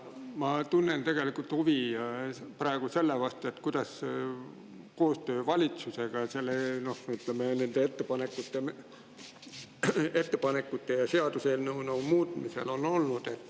Ma tunnen praegu huvi selle vastu, kuidas on olnud koostöö valitsusega nende ettepanekute ja seaduseelnõu muutmise puhul.